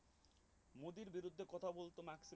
মোদির বিরুদ্ধে কথা বলত না